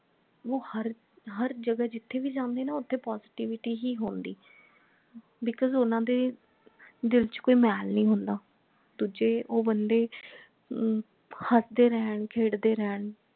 ਉਹ ਹਰ ਹਰ ਜਗਹ ਜਿਥੇ ਭੀ ਜਾਂਦੇ ਨਾ ਓਥੇ positivity ਹੀ ਹੁੰਦੀ because ਉਹਨਾਂ ਦੇ ਦਿਲ ਚ ਕੋਈ ਮੈਲ ਨਹੀਂ ਹੁੰਦਾ ਦੂਜੇ ਉਹ ਬੰਦੇ ਅਹ ਹਸਦੇ ਰਹਿਣ ਖੇਡਦੇ ਰਹਿਣ